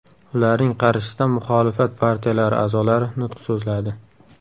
Ularning qarshisida muxolifat partiyalari a’zolari nutq so‘zladi.